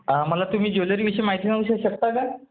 मला तुम्ही ज्वेलरीविषयी माहिती देऊ शकता का?